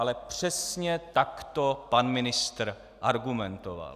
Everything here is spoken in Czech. Ale přesně tak to pan ministr argumentoval.